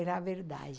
Era a verdade.